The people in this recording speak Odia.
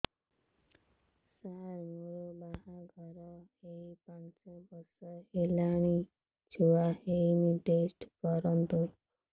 ସାର ମୋର ବାହାଘର ହେଇ ପାଞ୍ଚ ବର୍ଷ ହେଲାନି ଛୁଆ ହେଇନି ଟେଷ୍ଟ କରନ୍ତୁ